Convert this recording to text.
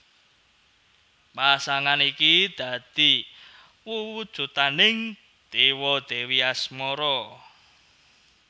Pasangan iki dadi wewujudaning dewa dèwi asmara